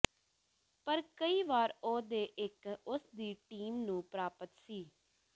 ਪਰ ਕਈ ਵਾਰ ਉਹ ਦੇ ਇੱਕ ਉਸ ਦੀ ਟੀਮ ਨੂੰ ਪ੍ਰਾਪਤ ਸੀ